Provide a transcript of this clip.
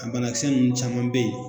A bana kisɛ nunnu caman be ye